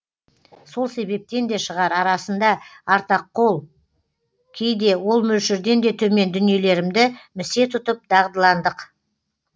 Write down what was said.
сол себептен де шығар арасында артақол кейде ол мөлшерден де төмен дүниелерімді місе тұтып дағдыландық